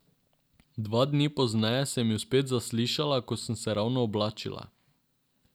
Dva dni pozneje sem ju spet zaslišala, ko sem se ravno oblačila.